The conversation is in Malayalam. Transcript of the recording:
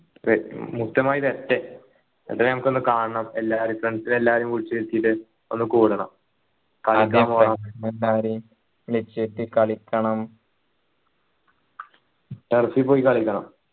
മുക്തമായി വരട്ടെ എന്നിട്ട് നമ്മക്കൊന്നു കാണണം എല്ലാരേയും friends ന് എല്ലാരേയും വിളിച്ചു വരുത്തീട്ട് ഒന്ന് കൂടണം വിളിച്ചുവരുത്തി കളിക്കണം turf ൽ പോയി കളിക്കണം